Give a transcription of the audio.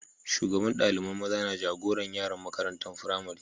Shugaban dalibain maza na jagoran yaran makarantan firamari.